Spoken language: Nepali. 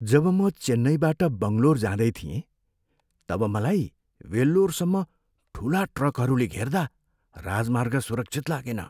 जब म चेन्नइबाट बङ्गलोर जाँदै थिएँ, तब मलाई वेल्लोरसम्म ठुला ट्रकहरूले घेर्दा राजमार्ग सुरक्षित लागेन।